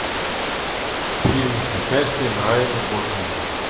фильмы с участием райана гослинга